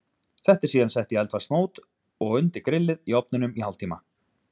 Þetta er síðan sett í eldfast mót og undir grillið í ofninum í hálftíma.